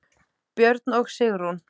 Björn og Sigrún.